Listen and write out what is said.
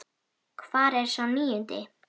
Hvar er sá níundi?